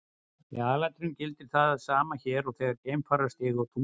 Í aðalatriðum gildir það sama hér og þegar geimfararnir stigu á tunglið.